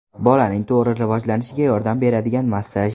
Bolaning to‘g‘ri rivojlanishiga yordam beradigan massaj.